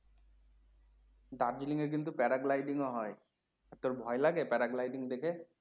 দার্জিলিং এ কিন্তু প্যারাগ্লাইডিং ও হয়। তোর ভয়লাগে প্যারাগ্লাইডিং ভয়লাগে দেখে